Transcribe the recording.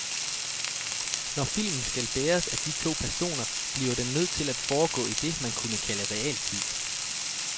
Når filmen skal bæres af de to personer, bliver den nødt til at foregå i det, man kunne kalde realtid.